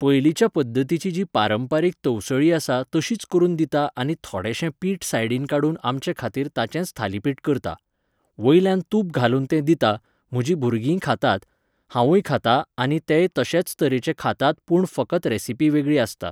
पयलीच्या पध्दतीची जी पारंपारीक तवसळी आसा तशीच करून दिता आनी थोडेशें पीठ सायडीन काडून आमचे खातीर ताचेंच थालीपीठ करता. वयल्यान तूप घालून तें दिता, म्हजी भुरगींय खातात, हांवूय खातां आनी तेय तशेच तरेचे खातात पूण फकत रेसिपी वेगळी आसता.